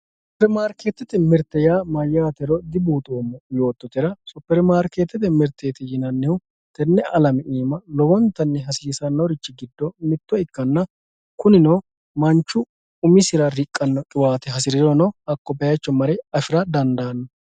supermarikeetete mirte yaa mayaatero dibuuxoomo yoototera supermarikeetete mirteti yinannihu tene alame iima lowontanni hasiisannorichi giddo mitto ikkanna kunino manchu umisira riqqanno qibaate hasirirono hakko bayiicho mare afira dandaano